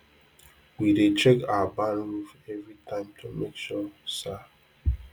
we dey check our barn roof every time to make sure sa